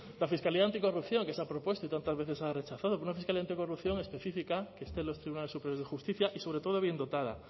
la fiscalía anticorrupción que se ha propuesto y tantas veces se ha rechazado pero una fiscalía anticorrupción específica que estén los tribunales superiores de justicia y sobre todo bien dotada